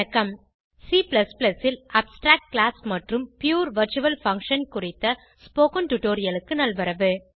C ல் abstract class மற்றும் pure virtual function குறித்த ஸ்போகன் டுடோரியலுக்கு நல்வரவு